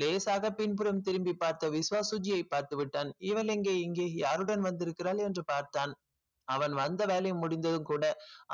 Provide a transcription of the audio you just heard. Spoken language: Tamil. லேசாக பின்புறம் திரும்பி பார்த்த விஸ்வா சுஜியை பார்த்துவிட்டான் இவள் எங்க இங்கே யாருடன் வந்திருக்கிறாள் என்று பார்த்தான் அவன் வந்த வேலை முடிந்ததும் கூட